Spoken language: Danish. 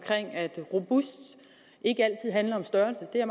at robust ikke altid handler om størrelse det er